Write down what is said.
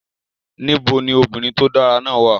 Níbo ni obìnrin tó dára wà